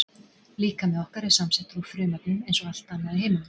Líkami okkar er samsettur úr frumefnum eins og allt annað í heiminum.